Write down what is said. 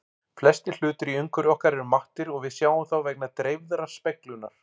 Flestir hlutir í umhverfi okkar eru mattir og við sjáum þá vegna dreifðrar speglunar.